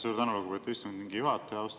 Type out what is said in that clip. Suur tänu, lugupeetud istungi juhataja!